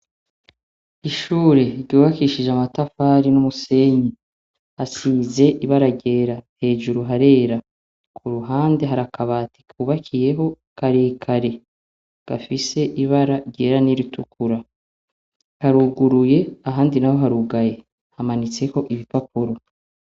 Ishure ryubakishije amatafari n'umusenyi hasize ibara yera hejuru harera, kuruhande hari akabati kubakiyeho karekare gafise ibara ryera n'iritukura haruguruye ahandi naho harugaye hamanitseko ibipapuro.